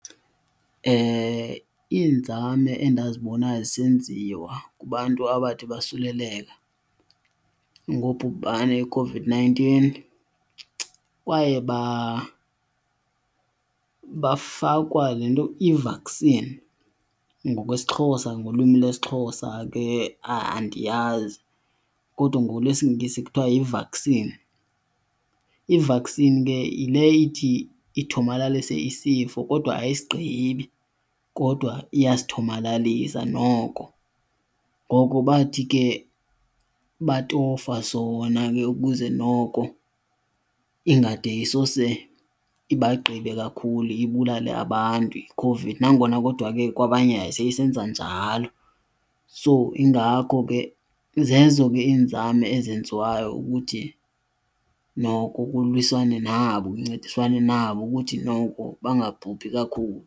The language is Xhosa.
Iinzame endazibona zisenziwa kubantu abathi basuleleka ngobhubhane iCOVID-nineteen kwaye bayofakwa le nto i-vaccine ngokwesiXhosa, ngolwimi lwesiXhosa ke andiyazi kodwa ngolwesingesi kuthiwa yi-vaccine. I-vaccine ke yile ithi ithomalalise isifo kodwa ayisigqibi kodwa iyasithomalalisa noko. Ngoko bathi ke batofa sona ke ukuze noko ingade sisose ibagqibe kakhulu ibulale abantu iCOVID, nangona kodwa ke kwabanye yayiseyisenza njalo. So zezo ke iinzame ezenziwayo ukuthi noko kuliwiswane nabo kuncediswane nabo ukuthi noko bangabhubhi kakhulu.